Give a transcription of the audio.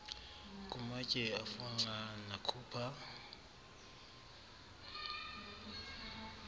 kumatye afunxa nakhupha